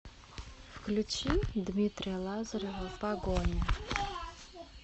включи дмитрия лазарева погоня